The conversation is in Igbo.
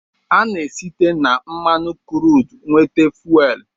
Ana-site na mmanụ kruud nweta fuwel.